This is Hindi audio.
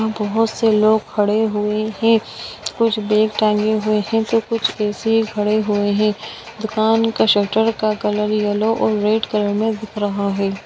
यहाँ बहोत से लोग खड़े हुए है कुछ बैग टांगे हुए हैं तो कुछ ऐसे ही खड़े हुए है दुकान का शटर का कलर येलो और रेड कलर में दिख रहा है।